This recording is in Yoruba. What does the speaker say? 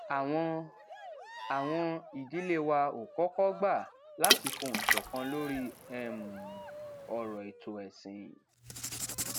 àwọn àwọn ìdílé wa ò kókó gbà láti fohùn ṣòkan lórí um òrò ètò ẹsìn